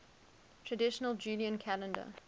traditional julian calendar